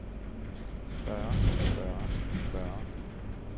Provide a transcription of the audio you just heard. spørge spørge spørge